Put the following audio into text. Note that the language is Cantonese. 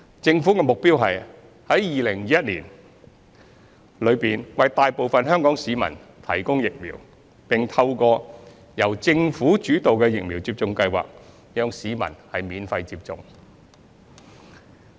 政府的目標是在2021年內為大部分香港市民提供疫苗，並透過由政府主導的疫苗接種計劃讓市民免費接種。